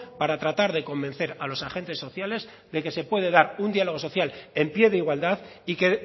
para tratar de convencer a los agentes sociales de que se puede dar un diálogo social en pie de igualdad y que